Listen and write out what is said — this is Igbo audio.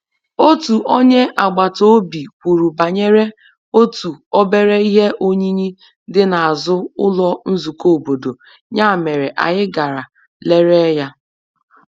Otu onye agbata obi kwuru banyere otu obere ihe oyiyi dị n’azụ ụlọ nzukọ obodo, ya mere anyị gara lere ya.